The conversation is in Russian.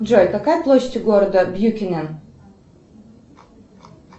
джой какая площадь города бьюкенен